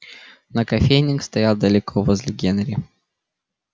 но кофейник стоял далеко возле генри